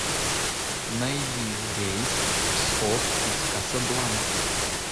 найди рейс в псков из касабланки